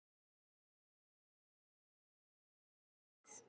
úr hverju er skýjahæð mæld